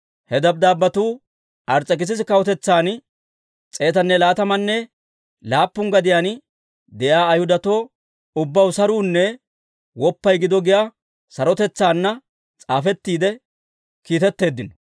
He dabddaabbetuu Ars's'ekisisa kawutetsan, s'eetanne laatamanne laappun gadiyaan de'iyaa Ayhudatoo ubbaw saruunne woppay gido giyaa sarotaanna s'aafettiide kiitetteeddino.